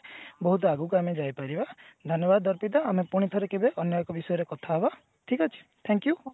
ବହୁତ ଆଗକୁ ଆମେ ଯାଇପାରିବା ଧନ୍ୟବାଦ ଅର୍ପିତା ଆମେ ପୁଣିଥରେ କେବେ ଅନ୍ୟ ଏକ ବିଷୟରେ କଥା ହବା ଠିକ ଅଛି thank you